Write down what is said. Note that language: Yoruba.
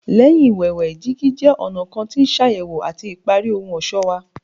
Lẹhin iwẹwẹ, digi jẹ ọna kan ti ṣayẹwo ati ipari ohun ọṣọ wa